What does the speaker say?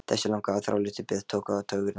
Þessi langa og þráláta bið tók á taugarnar.